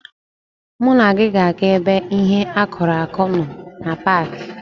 Mụ na gị ga-aga ebe ihe akụrụ akụ nọ na paaki.